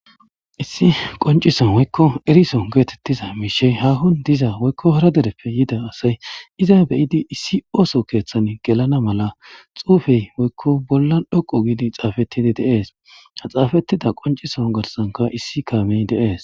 Issi qoncisan woykko erison geetettiza miishey hahon diza woykko hara dereppe yida asay iza beyidi issi ooso keeththan gelana mala xuufey woykko bolla dhoqu giidi xaafettidi deees haxaafettida qoncison garsanka issi kaamey deees.